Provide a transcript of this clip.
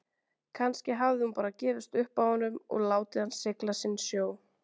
Kannski hafði hún bara gefist upp á honum og látið hann sigla sinn sjó.